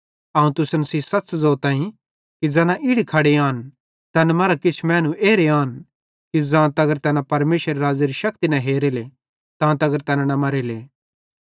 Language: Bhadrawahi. अवं तुसन सेइं सच़ ज़ोतईं कि ज़ैना इड़ी खड़े आन तैन मरां किछ मैनू एरे आन कि ज़ां तगर तैना परमेशरेरे राज़्ज़ेरी शक्ति न हेरेले तां तगर तैना न मरेले